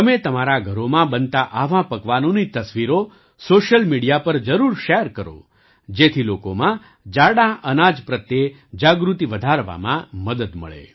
તમે તમારાં ઘરોમાં બનતાં આવાં પકવાનોની તસવીરો સૉશિયલ મિડિયા પર જરૂર શૅર કરો જેથી લોકોમાં જાડાં અનાજ પ્રત્યે જાગૃતિ વધારવામાં મદદ મળે